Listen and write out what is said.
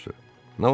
Nə olacaq?